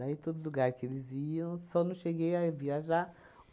todos os lugar que eles iam, só não cheguei a viajar.